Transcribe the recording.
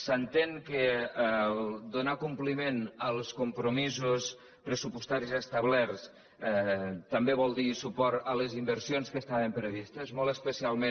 s’entén que donar compliment als compromisos pressupostaris establerts també vol dir suport a les inversions que estaven previstes molt especialment